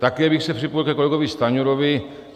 Také bych se připojil ke kolegovi Stanjurovi.